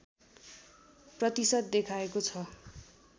प्रतिशत देखाएको छ